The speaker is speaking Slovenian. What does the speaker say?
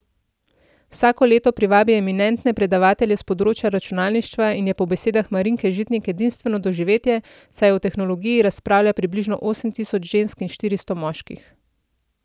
Vsako leto privabi eminentne predavatelje s področja računalništva in je po besedah Marinke Žitnik edinstveno doživetje, saj o tehnologiji razpravlja približno osem tisoč žensk in štiristo moških.